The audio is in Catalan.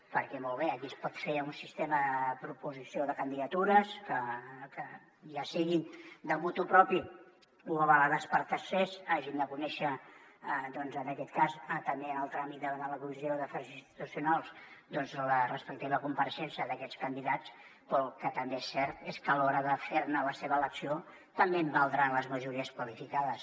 perquè molt bé aquí es pot fer un sistema de proposició de candidatures que ja sigui motu proprio o avalades per tercers hagin de conèixer en aquest cas també al tràmit d’anar a la comissió d’afers institucionals doncs la respectiva compareixença d’aquests candidats però el que també és cert és que a l’hora de fer ne l’elecció també valdran les majories qualificades